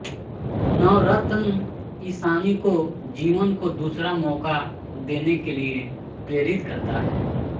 नवरतन ईशानी को जीवन को दूसरा मौका देने के लिए प्रेरित करता है